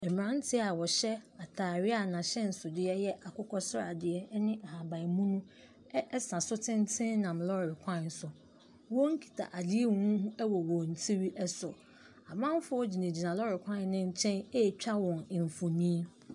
Mmranteɛ a wɔhyɛ atadeɛ a n'ahyɛnso ɛyɛ akokɔsrade ne ahabanmono ɛsa so tenten nnam lɔre kwan so. Wɔn kita adeɛ huhuuhu ɛwɔ wɔn tiri so. Amanfoɔ ɛgyina gyina lɔre kwan no nkyɛn ɛtwa wɔn mfonin.